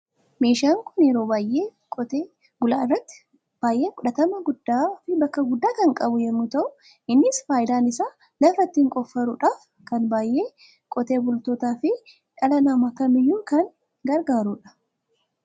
Meeshaan kun yeroo baay'ee qote bula biratti baay'ee fudhatama gudda fi bakka guddaa kan qabu yemmu ta'u, innis faayidaan isaa lafa ittin qoffuruudhaf kan baay'ee qotee bultootaa fi dhala nama kamiyyu kan gargaruudha.